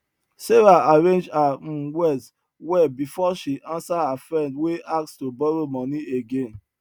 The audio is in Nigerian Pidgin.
sarah arrange her um words well before she answer her friend wey ask to borrow money again